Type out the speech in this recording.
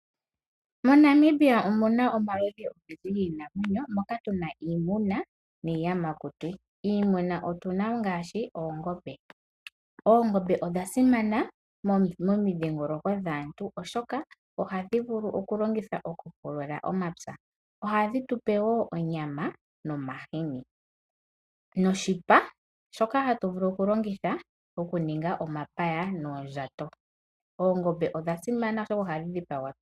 MoNamibia omuna omaludhi ogendji giinamwenyo moka tuna iimuna niiyamakuti. Iimuna otuna ngaashi oongombe. Oongombe odhasimana momidhiingoloko dhaantu, oshoka ohadhi vulu okulongithwa okupulula omapya. Ohadhi tupe woo onyama nomahini noshipa shoka hatu vulu okulongitha okuninga omapaya noondjato. Oongombe odha simana oshoka ohadhi dhipagwa.